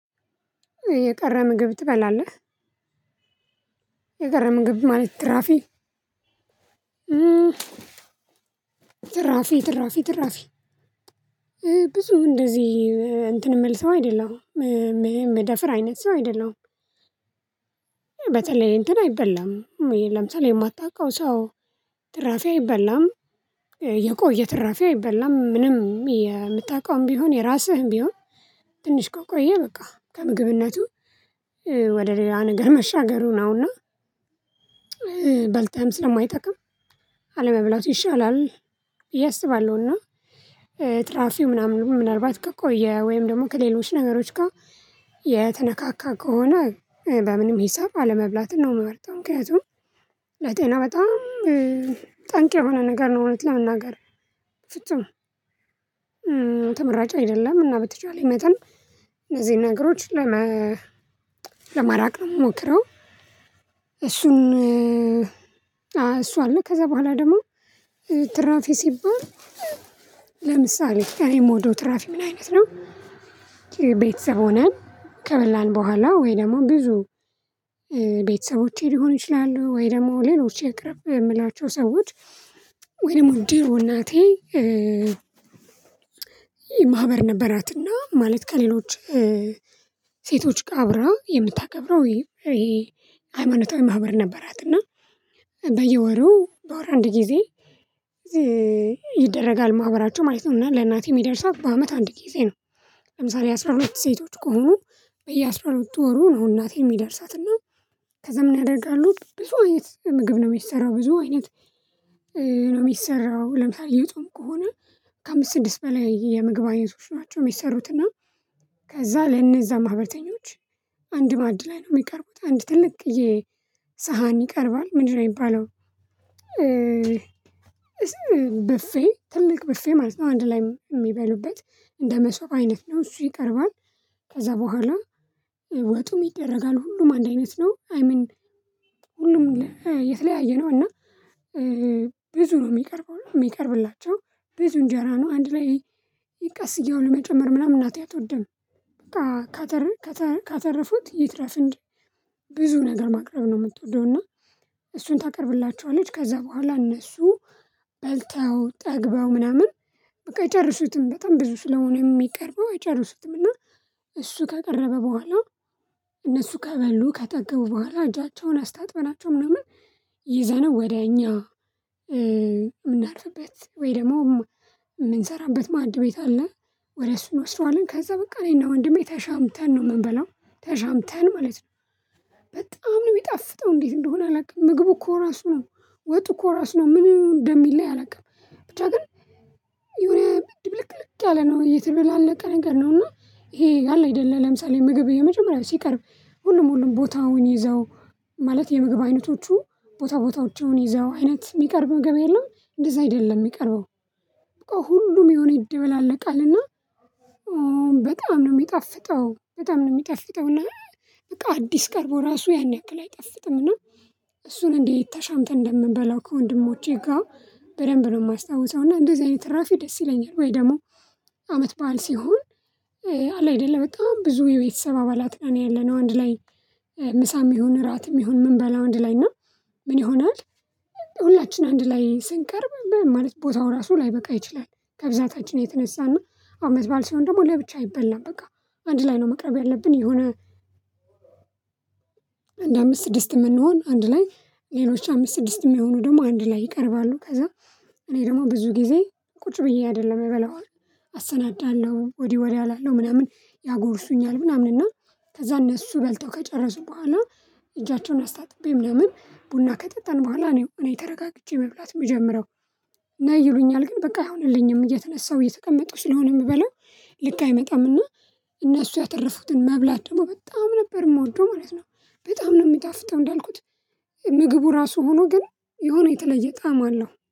የቀረ ምግብ ትበላለህ? የቀረ ምግብ ማለት ትራፊ ትራፊ ትራፊ ትራፊ ብዙ እንደዚህ እንትን የምል ሰው አይደለሁም የምደፍር አይነት ሰው አይደለሁም። በተለይ እንትን አይበላም ለምሳሌ የማታውቀው ሰው ትራፊ አይበላም። የቆየ ትራፊ አይበላም ምንም የምታውቀውም ቢሆን የራስህም ቢሆን ትንሽ ከቆየ በቃ ከምግብነቱ ወደ ሌላ ነገር መሻገሩ ነውና። በልተህም ስለማይጠቅም አለመብላቱ ይሻላል ብየአስባለሁ እና። ትራፊው ምናምን ምናልባት ከቆየ ወይም ደግሞ ከሌሎች ነገሮች ጋር የተነካካ ከሆነ በምንም ሂሳብ አለመብላትን ነው የምመርጠው። ምክንያቱም ለጤና በጣም ጠንቅ የሆነ ነገር ነው እውነት ለመናገር ፍጹም ተመራጭ አይደለም እና በተቻለኝ መጠን እነዚህ ነገሮች ለመራቅ ነው የምሞክረው። እሱን እሱ አለ ከዛ በኋላ ደግሞ ትራፊ ሲባል ለምሳሌ እኔ ምወደ ትራፊ ምን አይነት ነው? ቤተሰብ ሆነን ከበላን በኋላ ወይ ደግሞ ብዙ ቤተሰቦቼ ሊሆን ይችላሉ ወይ ደግሞ ሌሎች የቅርብ የምላቸው ሰዎች ወይ ደግሞ ድሮ እናቴ። ማህበር ነበራትና ማለት ከሌሎች ሴቶች አብራ ቀብረው የምታከብረው ይሄ ሃይማኖታዊ ማህበር ነበራትና። በየወሩ በወር አንድ ጊዜ ይደረጋል ማህበራቸው ማለት ነው እና ለእናቴ የሚደርሳት በአመት አንድ ጊዜ ነው። ለምሳሌ አስራ ሁለት ሴቶች ከሆኑ በየአስራ ሁለት ወሩ ነው እናቴ የሚደርሳትና። ከዛም ምን ያደርጋሉት ብዙ አይነት ምግብ ነው የሚሰራው ብዙ አይነት ነው የሚሰራው ለምሳሌ የጾም ከሆነ ከአምስት ስድስት በላይ የምግብ አይነቶች ናቸው የሚሰሩትና። ከዛ ለነዛ ማህበርተኞች አንድ ማዕድ ላይ ነው የሚቀርቡት አንድ ትልቅየ ሳሃን ይቀርባል። ምንድነው የሚባለው? በፌ ትልቅ በፌ ማለት ነው አንድ ላይ የሚበሉበት እንደ መሶብ አይነት ነው እሱ ይቀርባል። ከዛ በኋላ ወጡም ይደረጋል ሁሉም አንድ አይነት ነው አይ ምን ሁሉም የተለያየ ነው እና። ብዙ ነው የሚቀርበው የሚቀርብላቸው ብዙ እንጀራ ነው አንድ ላይ ቀስ እያሉ መጨመር ምናምን እናቴ አትወድም። ካተረፉት ይትረፍን እንጂ ብዙ ነገር ማቅረብ ነው የምትወደው እና። እሱን ታቀርብላቸዋለች ከዛ በኋላ እነሱ በልተው ጠግበው ምናምን በቃ አይጨረሱትም በጣም ብዙ ስለሆነ የሚቀርበው አይጨርሱትም እና። እሱ ከቀረበ በኋላ እነሱ ከበሉ ከጠገቡ በኋላ እጃቸውን አስታጥበናቸው ምናምን ይዘነው ወዲያኛ። ምናርፍበት ወይ ደግሞ ምንሰራበት ማድቤት አለ። ወደ እሱ እንወስደዋለን ከዛ በቃ እኔና ወንድሜ ተሻምተን ነው ምንበላው ተሻምተን ማለት ነው። በጣም ነው የሚጣፍጠው እንዴት እንደሆነ አላውቅም ምግቡ እኮ ራሱ ነው ወጡ እኮ ራሱ ነው ምን እንደሚለይ አላውቅም ብቻ ግን። የሆነ ድብልቅልቅ ያለ ነው የተበደላለቀ ነገር ነው። ነውና ይሄ አለ አይደለም ለምሳሌ ምግብ የመጀመሪያው ሲቀርብ ሁሉም ሁሉም ቦታውን ይዘው ማለት የምግብ አይነቶቹ ቦታ ቦታዎች ይዘው አይነት የሚቀርበው ምግብ የለም እንደዛ አይደለም የሚቀርበው በቃ ሁሉም የሆነ ይደበላለቃልና። በጣም ነው የሚጣፍጠው በጣም ነው የሚጣፍጠውና በቃ አዲስ ቀርቦ ራሱ ያን ያክል አይጣፍጥምና። እሱን እንዴት ተሻምተን እንደምንበላው ከወንድሞቼ ጋር በደንብ ነው የማስታውሰው እና እንደዚህ አይነት ትራፊ ደስ ይለኛል። ወይ ደግሞ አመት በዓል ሲሆን። አለ አይደለ በጣም ብዙ የቤተሰብ አባላት ነው ያለነው አንድ ላይ ምሳም ይሁን እራትም ይሁን ምንበላው አንድ ላይና ምን ይሆናል? ሁላችን አንድ ላይ ስንቀርብ ማለት ቦታው ራሱ ላይበቃ ይችላል። ከብዛታችን የተነሳና አመት በዓል ሲሆን ደግሞ ለብቻ አይበላም በቃ አንድ ላይ ነው መቅረብ ያለብን የሆነ። አንድ አምስት ስድስት የምንሆን አንድ ላይ ሌሎች አምስት ስድስት የሚሆኑ ደግሞ አንድ ላይ ይቀርባሉ ከዛ። እኔ ደግሞ ብዙ ጊዜ ቁጭ ብዬ አደለም የምበላው። አሰናዳለሁ ወዲህ ወዲያ እላለሁ ምናምን ያጎርሱኛል ምናምን እና። ከዛ እነሱ በልተው ከጨረሱ በኋላ እጃቸውን አስታጥቤ ምናምን ቡና ከጠጣን በኋላ ነው እኔ ተረጋግቼ መብላት ምጀምረው። ነይ ይሉኛል ግን በቃ አይሆንልኝም እየተነሳሁ እየተቀመጡ ስለሆነ የምበለው። ልክ አይመጣም እና። እነሱ ያተረፉትን መብላት ደግሞ በጣም ነበር የምወደው ማለት ነው። በጣም ነው የምጣፍተው እንዳልኩት ምግቡ ራሱ ሆኖ ግን የሆነ የተለየ ጣዕም አለው